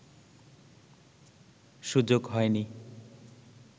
সুযোগ হয়নি